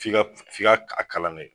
F'i ka f'i ka kalan de kɛ